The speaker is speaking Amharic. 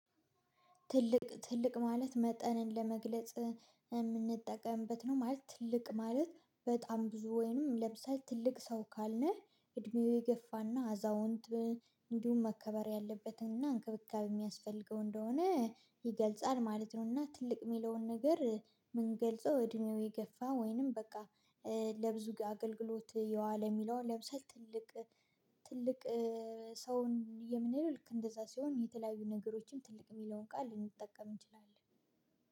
ትልቅ ትልቅ ማለት መጠንን ለመግለጽ የምንጠቀምበት ነው ማለት ትልቅ ማለት በጣም ብዙ ወይንም ለምሳሌ ትልቅ ሰው ካልነ እድሜው የገፋና አዛውንት እንዲሁም መከበር ያለበትን እና እንክብካብ የሚያስፈልገው እንደሆነ ይገልጻል ማለት ነው። እና ትልቅ የሚለውን ነገር የሚገልጸው እድሜው የገፋ ወይንም በቃ ለብዙ አገልግሎት የዋለ የሚለው ለብሰህ ትልቅ ትልቅ ሰውን የምንለው ልክ እንደዛ ሲሆን የተለያዩ ነገሮችን ትልቅ የሚለውን ቃል ልንጠቀም እንችላለን